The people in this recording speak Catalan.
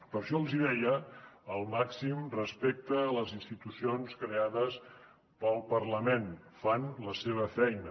per això els deia el màxim respecte a les institucions creades pel parlament fan la seva feina